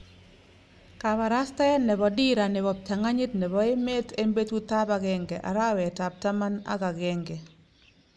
Kaparastaet nepo dira nepo ptanganyit nepo emet en petut ap agenge, arawet ap taman ak agenge 21 201